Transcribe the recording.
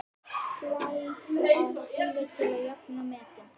Slæ af síðar til að jafna metin.